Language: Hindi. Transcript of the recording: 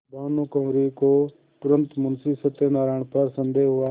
भानुकुँवरि को तुरन्त मुंशी सत्यनारायण पर संदेह हुआ